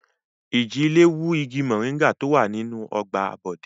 Ìjì-ilẹ̀ wú igi mòríngà tó wà nínú ọgbà Bọ̀dé.